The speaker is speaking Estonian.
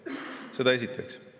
Seda esiteks.